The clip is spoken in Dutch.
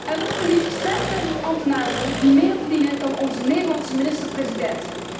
Er lopen liefst 5000 ambtenaren rond die meer verdienen dan onze Nederlandse minister president.